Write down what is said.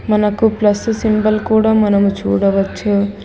మనకు plus symbol కూడా మనము చూడవచ్చు.